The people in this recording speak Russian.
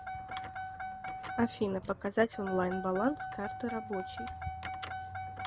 афина показать онлайн баланс карты рабочей